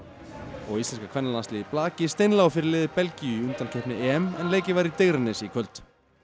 og íslenska kvennalandsliðið í blaki steinlá fyrir liði Belgíu í undankeppni EM en leikið var í Digranesi í kvöld